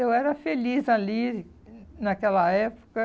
Eu era feliz ali naquela época.